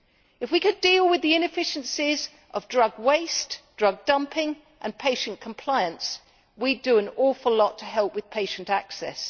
If we could deal with the inefficiencies of drug waste, drug dumping and patient compliance, we would do an awful lot to help with patient access.